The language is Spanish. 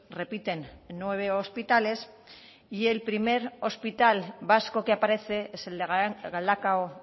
repiten nueve hospitales y el primer hospital vasco que aparece es el galdakao